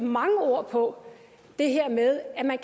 mange ord på det her med at man